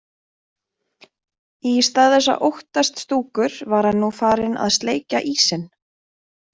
Í stað þess að óttast Stúkur var hann nú farinn að sleikja ísinn.